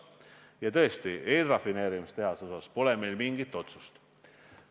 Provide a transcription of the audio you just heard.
Ja tõesti, eelrafineerimistehase kohta pole meil mingit otsust.